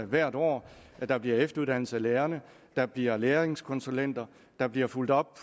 hvert år at der bliver efteruddannelse af lærerne at der bliver læringskonsulenter at der bliver fulgt op